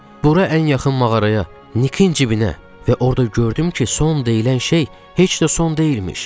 Bura ən yaxın mağaraya, Nikin cibinə və orda gördüm ki, son deyilən şey heç də son deyilmiş.